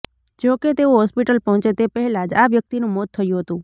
જો કે તેઓ હોસ્પિટલ પહોંચે તે પહેલાં જ આ વ્યક્તિનું મોત થયું હતું